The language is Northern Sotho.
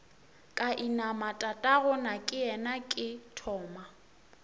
ka inama tatagonakeyena ke thoma